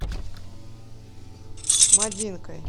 мадинкой